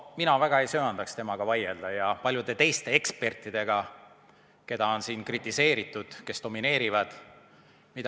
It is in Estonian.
Mina väga ei söandaks vaielda temaga ja paljude teiste ekspertidega, keda on siin kritiseeritud, kes domineerivad.